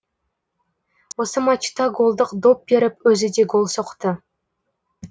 осы матчта голдық доп беріп өзі де гол соқты